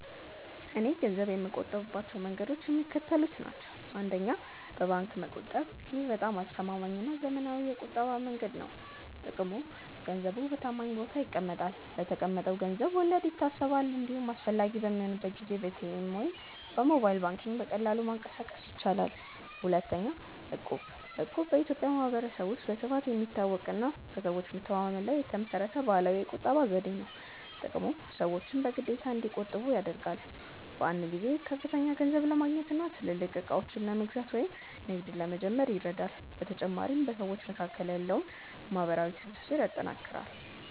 .እኔ ገንዘብ የምቆጥብባቸው መንገዶች የሚከተሉት ናቸው፦ 1. በባንክ መቆጠብ: ይህ በጣም አስተማማኝና ዘመናዊው የቁጠባ መንገድ ነው። ጥቅሙ፦ ገንዘቡ በታማኝ ቦታ ይቀመጣል፤ ለተቀመጠው ገንዘብ ወለድ ይታሰባል፤ እንዲሁም አስፈላጊ በሚሆንበት ጊዜ በኤቲኤም ወይም በሞባይል ባንኪንግ በቀላሉ ማንቀሳቀስ ይቻላል። 2. እቁብ: እቁብ በኢትዮጵያ ማኅበረሰብ ውስጥ በስፋት የሚታወቅና በሰዎች መተማመን ላይ የተመሠረተ ባህላዊ የቁጠባ ዘዴ ነው። ጥቅሙ፦ ሰዎችን በግዴታ እንዲቆጥቡ ያደርጋል። በአንድ ጊዜ ከፍተኛ ገንዘብ ለማግኘትና ትልልቅ ዕቃዎችን ለመግዛት ወይም ንግድ ለመጀመር ይረዳል። በተጨማሪም በሰዎች መካከል ያለውን ማኅበራዊ ትስስር ያጠናክራል።